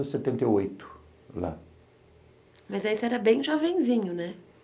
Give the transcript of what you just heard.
a setenta e oito lá. Mas aí você era bem jovenzinho, né?